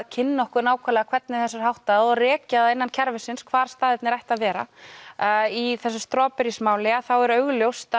kynna okkur hvernig þessu er háttað og rekja það innan kerfisins hvar staðirnir ættu að vera í þessu Strawberries máli er augljóst